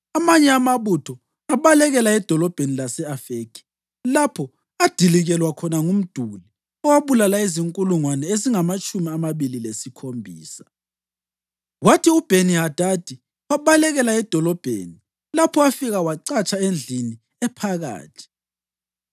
Amanye amabutho abalekela edolobheni lase-Afekhi, lapho adilikelwa khona ngumduli owabulala izinkulungwane ezingamatshumi amabili lesikhombisa. Kwathi uBheni-Hadadi wabalekela edolobheni lapho afika wacatsha endlini ephakathi.